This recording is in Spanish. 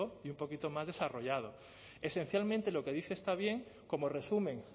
y un poquito más desarrollado esencialmente lo que dice está bien como resumen